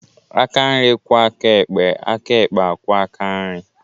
Aka nri kwọọ aka ekpe, aka ekpe akwọọ aka nri